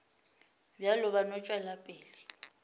bjalo ba no tšwela pele